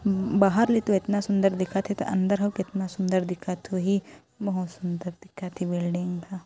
बाहर ले तो एतना सुंदर दिखत हे त अंदर ह अउ केतना सुंदर दिखत होही बहुत सुंदर दिखत हे बिल्डिंग ह--